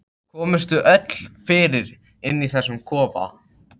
Komumst við öll fyrir inni í þessum kofa?